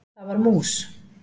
Það var mús!